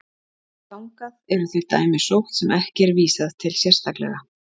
þangað eru þau dæmi sótt sem ekki er vísað til sérstaklega